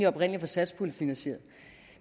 oprindeligt var satspuljefinansieret